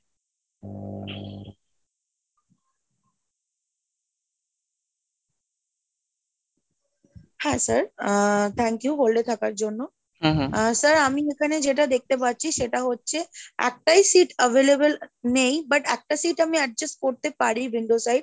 হ্যাঁ sir, ah thank you hold এ থাকার জন্য আহ sir আমি এখানে যেটা দেখতে পাচ্ছি , সেটা হচ্ছে একটাই seat available নেই but একটা seat আমি adjust করতে পারি window side,